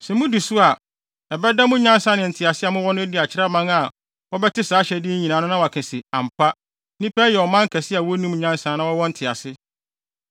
Sɛ mudi so a, ɛbɛda mo nyansa ne ntease a mowɔ no adi akyerɛ aman a wɔbɛte saa ahyɛde yi nyinaa no na wɔaka se, “Ampa, nnipa yi yɛ ɔman kɛse a wonim nyansa na wɔwɔ ntease.”